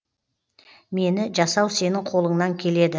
мені жасау сенің қолыңнан келеді